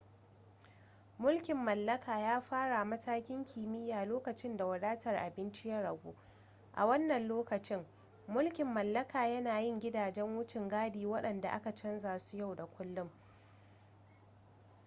mulkin mallaka ya fara matakin makiyaya lokacin da wadatar abinci ya ragu a wannan lokacin mulkin mallaka yana yin gidajan wucin gadi waɗanda ake canza su yau da kullun